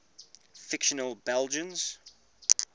fictional belgians